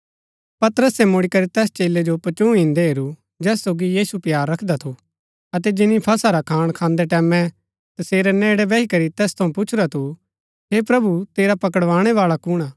पतरसे मुड़ीकरी तैस चेलै जो पचूँह इन्दै हेरू जैस सोगी यीशु प्‍यार रखदा थू अतै जिनी फसह रा खाणा खान्दै टैमैं तसेरै नेड़ै बैही करी तैस थऊँ पुछुरा थू हे प्रभु तेरा पकडाणैवाळा कुण हा